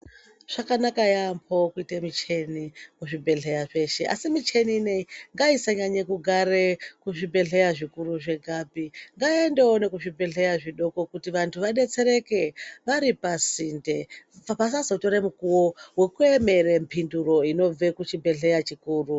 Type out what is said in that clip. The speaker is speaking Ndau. Zvakanaka yaambo kuita micheni kuzvibhedhlera zveshe, asi micheni ineyi ngaisanyanya kugare kuzvibhedhlera zvikuru zvegapi ngaiendewo nekuzvibhdhlera zvidoko kuti vantu vabetsereke vari pasinte, pasazotore mukuwo vekuemere mhinduro inobve kuchibhedhlera chikuru.